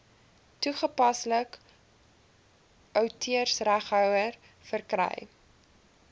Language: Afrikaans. toepaslike outeursreghouer verkry